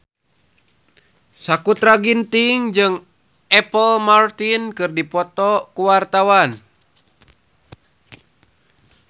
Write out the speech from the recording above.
Sakutra Ginting jeung Apple Martin keur dipoto ku wartawan